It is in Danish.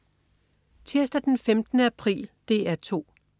Tirsdag den 15. april - DR 2: